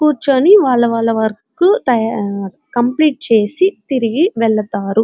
కూర్చొని వాళ్ల వాళ్ల వర్క్ కంప్లీట్ చేసి తిరిగి వెళతారు.